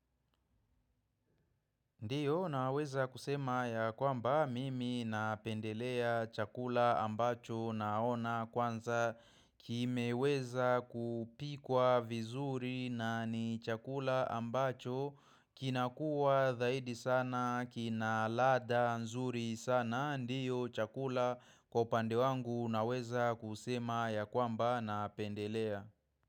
Ndio naweza kusema ya kwamba mimi napendelea chakula ambacho naona kwanza kimeweza kupikwa vizuri na ni chakula ambacho kinakuwa dhaidi sana, kina ladha nzuri sana. Ndio chakula kwa upande wangu naweza kusema ya kwamba napendelea.